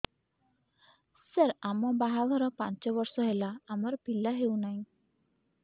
ସାର ଆମ ବାହା ଘର ପାଞ୍ଚ ବର୍ଷ ହେଲା ଆମର ପିଲା ହେଉନାହିଁ